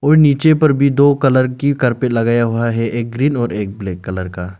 नीचे पर भी दो कलर की कारपेट लगाया हुआ है एक ग्रीन और एक ब्लैक कलर का।